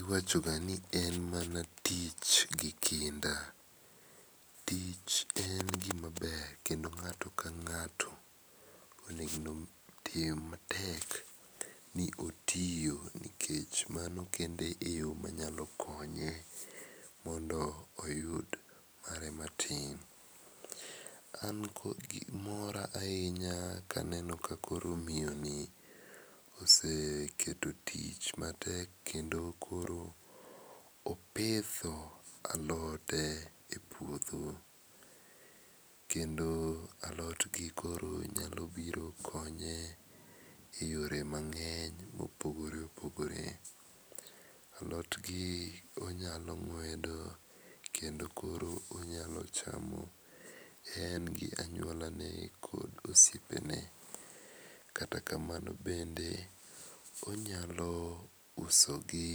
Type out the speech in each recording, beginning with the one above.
Iwachoga ni en mana ich gi kinda, tich en gima ber kendo ng'ato kang'ato onego otem matek ni otiyo nikech mano kende eyo manyalo konye mondo oyud mare matin. An koth gik mora ahinya kaneno ka koro miyoni oseketo tich matek ken do koro opidho alode e puodho kendo alot gikoro nyalo biro konye eyore mang'eny mopogore opogore. Alot gi onyalo ng'wedo kendo koro onyalo chamo en gi anyuolane kod osiepene. Kata kamano bende onyalo usi gi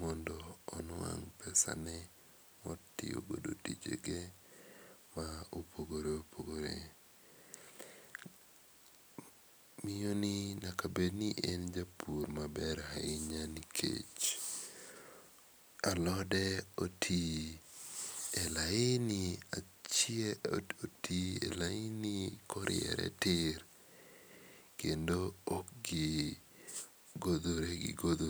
mondo onuang' pesage motiyo godo tijege ma opogore opogore. Miyoni nyaka bed ni en japur maber ahinya nikech alode oti e laini oti e laini koriere tir ok gidhogore gidhore,